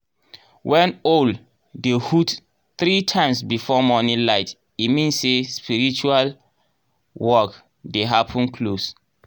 when owl dey hoot three times before morning light e mean say spiritual work dey happen close.